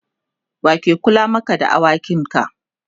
wake Kula Maka da awakin ka?